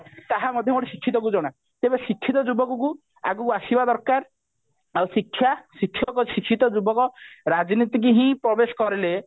ତାହା ମଧ୍ୟ ଗୋଟେ ଶିକ୍ଷିତକୁ ଜଣା ତେବେ ଶିକ୍ଷିତ ଯୁବକକୁ ଆଗକୁ ଆସିବା ଦରକାର ଆଉ ଶିକ୍ଷା ଶିକ୍ଷକ ଶିକ୍ଷିତ ଯୁବକ ରାଜନୀତିକୁ ହିଁ ପ୍ରବେଶ କରିଲେ